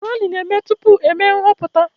Rali na-eme tupu eme nhọpụta